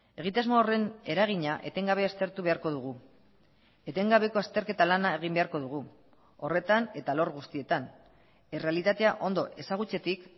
egitasmo horren eragina etengabe aztertu beharko dugu etengabeko azterketa lana egin beharko dugu horretan eta alor guztietan errealitatea ondo ezagutzetik